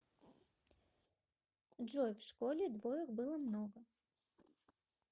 джой в школе двоек было много